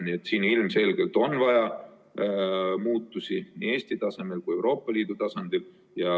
Nii et siin ilmselgelt on vaja muutusi nii Eesti tasemel kui ka Euroopa Liidu tasandil.